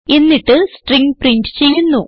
എന്നിട്ട് string print ചെയ്യുന്നു